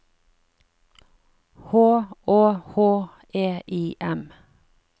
H Å H E I M